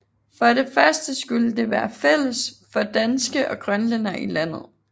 For det første skulle det være fælles for danske og grønlændere i landet